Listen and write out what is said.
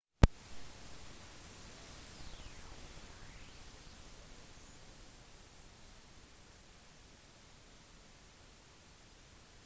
uønskede veggmalerier og skriblinger er kjent som graffiti